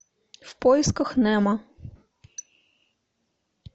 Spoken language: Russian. в поисках немо